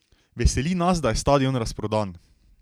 Veseli nas, da je stadion razprodan.